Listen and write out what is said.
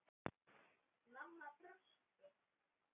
Mamma brosti.